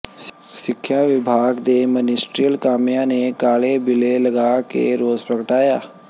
ਸਿੱਖਿਆ ਵਿਭਾਗ ਦੇ ਮਨਿਸਟਰੀਅਲ ਕਾਮਿਆਂ ਨੇ ਕਾਲੇ ਬਿੱਲੇ ਲਗਾ ਕੇ ਰੋਸ ਪ੍ਰਗਟਾਇਆ